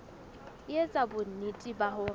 e etsa bonnete ba hore